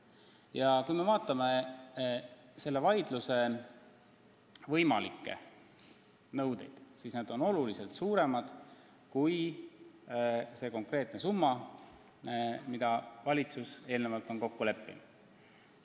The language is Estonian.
Ja kui me vaatame selle vaidluse võimalikke nõudeid, siis need on oluliselt suuremad kui see konkreetne summa, milles valitsus on eelnevalt kokku leppinud.